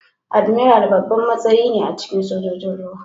Admiral babban matsayi ne a cikin Sojojin ruwa.